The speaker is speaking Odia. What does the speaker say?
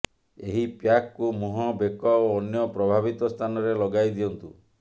ଏହି ପ୍ୟାକ୍କୁ ମୁହଁ ବେକ ଓ ଅନ୍ୟ ପ୍ରଭାବିତ ସ୍ଥାନରେ ଲଗାଇ ଦିଅନ୍ତୁ